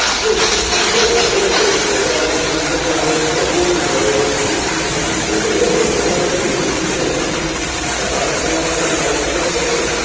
Plus, vytvorme podpory programu informovanosti a výuky verejnosti na ich integrovanie a uľahčovanie využitia ich zamestnávania, talentov a schopností.